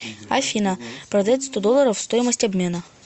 афина продать сто долларов стоимость обмена